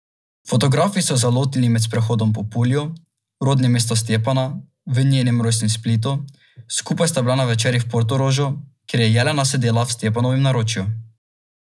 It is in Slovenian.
Fotografi so ju zalotili med sprehodom po Pulju, rodnem mestu Stjepana, v njenem rojstnem Splitu, skupaj sta bila na večerji v Portorožu, kjer je Jelena sedela v Stjepanovem naročju.